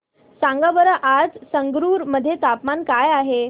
सांगा बरं आज संगरुर मध्ये तापमान काय आहे